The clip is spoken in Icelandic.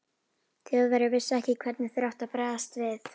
Þjóðverjar vissu ekki, hvernig þeir áttu að bregðast við.